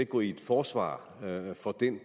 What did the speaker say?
gå i et forsvar for den